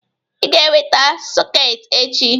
Ị ga-eweta sọketị echi!